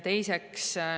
Teiseks.